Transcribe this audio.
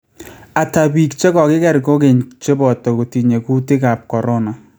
Ata biik chekokikeer kogeny cheboto kotiinye kutikaaab corona